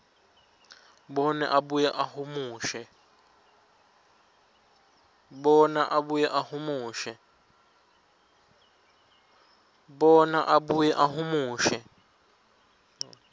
bona abuye ahumushe